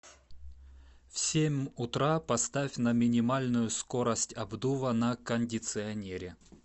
в семь утра поставь на минимальную скорость обдува на кондиционере